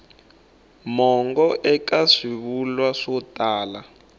mongo eka swivulwa swo tala